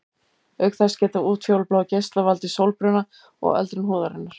Auk þess geta útfjólubláir geislar valdið sólbruna og öldrun húðarinnar.